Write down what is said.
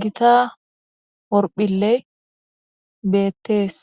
gita horphilley beettees